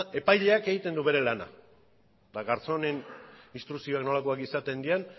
epaileak egiten du bere lana eta garzónen instrukzioak nolakoak izaten diren